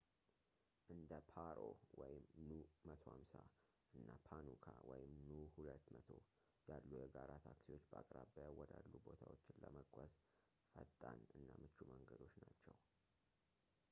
እንደ ፓሮ nu 150 እና ፓኑካ nu 200 ያሉ የጋራ ታክሲዎች በአቅራቢያ ወዳሉ ቦታዎች ለመጓዝ ፈጣን እና ምቹ መንገዶች ናቸው